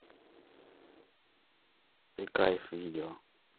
ты кайф видео